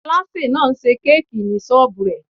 Aláṣè náà n ṣe kéèkì ní sọ́ọ́bù rẹ̀